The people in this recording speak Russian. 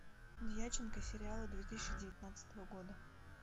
дьяченко сериалы две тысячи девятнадцатого года